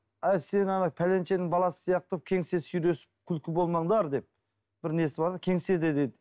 әй сен ана пәленшенің баласы сияқты күлкі болмаңдар деп бір несі бар кеңседе деп